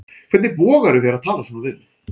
Hvernig vogar þú þér að tala svona við mig.